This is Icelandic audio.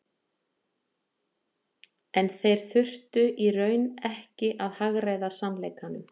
En þeir þurftu í raun ekki að hagræða sannleikanum.